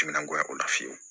Timinan goya o la fiyewu